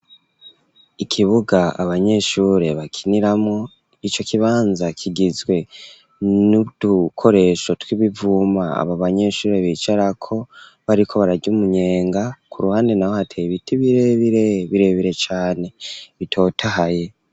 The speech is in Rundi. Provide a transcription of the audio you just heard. Ikibuga, abanyeshure bakiniramwo; ico kibanza, kigizwe n'udukoresho, tw'ibivuma, abo banyeshure, bicarako, bariko bararya umunyenga, ku ruhande naho, hateye ibiti birebire, birebire cane, bitotahaye.